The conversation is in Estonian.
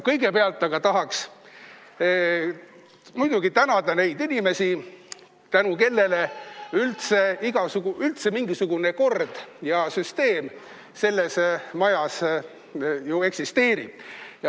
Kõigepealt tahaks tänada neid inimesi, tänu kellele üldse mingisugune kord ja süsteem selles majas eksisteerib.